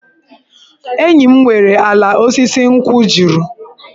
Enyi m nwere ala osisi nkwụ juru.